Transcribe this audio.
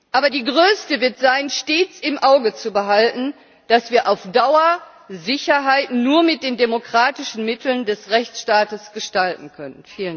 Aber die größte wird sein stets im Auge zu behalten, dass wir auf Dauer Sicherheit nur mit den demokratischen Mitteln des Rechtsstaates gestalten können.